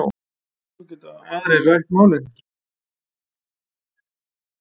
Svo geti aðrir rætt málin.